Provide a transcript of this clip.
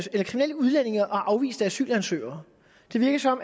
afviste asylansøgere det virker som